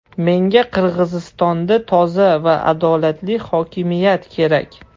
Menga Qirg‘izistonda toza va adolatli hokimiyat kerak.